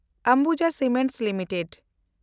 Ambuja cements limited